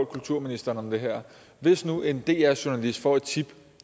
kulturministeren om det her hvis nu en dr journalist får et tip